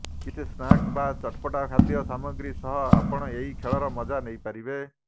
କିଛି ସ୍ନାକ୍ସ ବା ଚଟପଟା ଖାଦ୍ୟ ସାମଗ୍ରୀ ସହ ଆପଣ ଏହି ଖେଳର ମଜା ନେଇପାରିବେ